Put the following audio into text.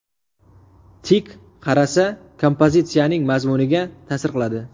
Tik qarasa kompozitsiyaning mazmuniga ta’sir qiladi.